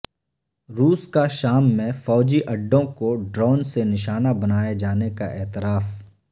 روس کا شام میں فوجی اڈوں کو ڈرون سے نشانہ بنائے جانے کا اعتراف